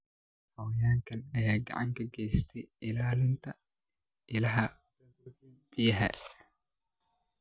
Xayawaankan ayaa gacan ka geysta ilaalinta ilaha biyaha.